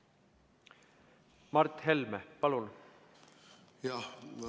Mart Helme, palun!